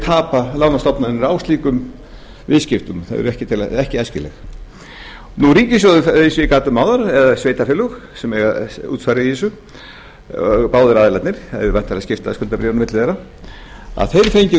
tapa lánastofnanir á slíkum viðskiptum þau eru ekki æskileg ríkissjóður eins og ég gat um áðan eða sveitarfélög sem eiga útsvar í þessu báðir aðilarnir væntanlega skiptast skuldabréf á milli þeirra